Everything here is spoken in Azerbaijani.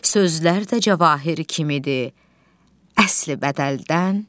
Sözlər də cavahir kimidir, əsli bədəldən.